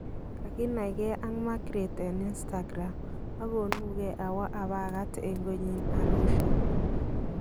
kaginaikee ak Margreth en instagram agonugee awa apagat en konyin Arusha